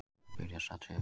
Það byrjaði strax í haust